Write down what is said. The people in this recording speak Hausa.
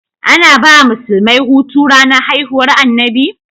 Ana bawa musulmai Hutu ranar haihuwar annabi?